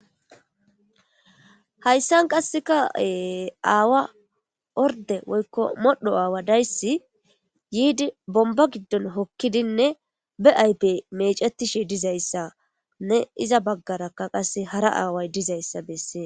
Hayssan qassikkaa ee aawa ordde woykko modhdho aawa deyssi yiidi bombba giddon hokkidinne ba ayfe meecettishe dizayssanne iza baggara qasse hara away dizayssa bessees.